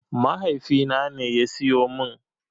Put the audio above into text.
Mahaifina ne ya siyo min.